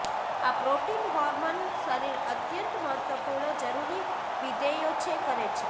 આ protein hormone શરીર અત્યંત મહત્વપૂર્ણ જરૂરી વિધેયો છે કરે છે